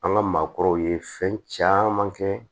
An ka maakɔrɔw ye fɛn caman kɛ